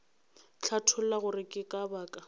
hlatholla gore ke ka baka